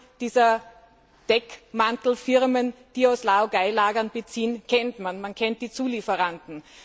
Die Namen dieser Deckmantelfirmen, die aus Laogai Lagern beziehen, kennt man, man kennt die Zulieferanten.